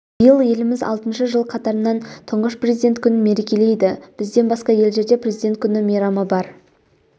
биыл еліміз алтыншы жыл қатарынан тұңғыш президент күнін мерекелейді бізден басқа елдерде президент күні мейрамы бар